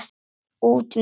Út með ykkur!